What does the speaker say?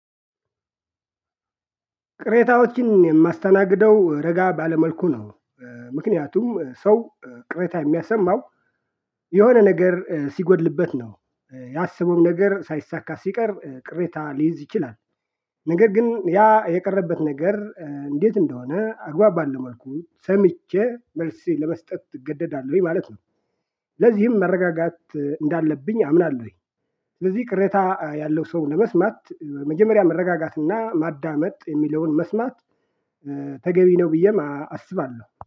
ቅሬታዎችን የማስተናግደው ረጋ ባለ መልኩ ነው። ምክንያቱም ሰው ቅሬታ የሚያሰማው የሆነ ነገር ሲጎድልበት ነው። ያሰበውም ነገር ሳይሳካ ሲቀር ቅሬታ ሊይዝ ይችላል። ነገር ግን ያ የቀረበት ነገር እንዴት እንደሆነ አግባብ ባለው መልኩ ሰምቼ መልስ ለመስጠት እገደዳለሁኝ ማለት ነው። ለዚህም መረጋጋት እንዳለብኝ አምናለሁኝ። ስለዚህ ቅሬታ ያለው ሰው ለመስማት መጀመሪያ መረጋጋት እና ማዳመጥ የሚለውን መስማት ተገቢ ነው ብዬም አስባለሁ።